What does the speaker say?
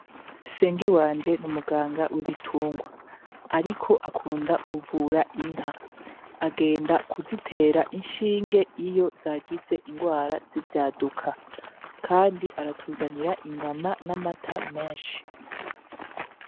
Senge wanje n'umuganga w'ibitungwa, ariko akunda kuvura inka, agenda kuzitera inshinge iyo zagize ingwara z'ivyaduka, kandi aratuzanira inyama n'amata menshi.